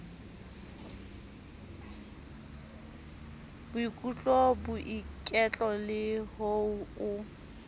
boikutlo boiketlo le ho o